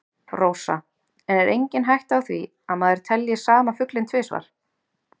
Rósa: En er engin hætta á því að maður telji sama fuglinn tvisvar?